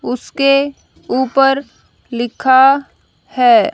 उसके ऊपर लिखा है।